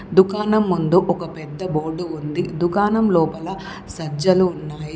దుకాణం ముందు ఒక పెద్ద బోర్డు ఉంది దుకాణం లోపల సజ్జలు ఉన్నాయి.